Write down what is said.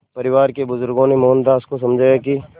परिवार के बुज़ुर्गों ने मोहनदास को समझाया कि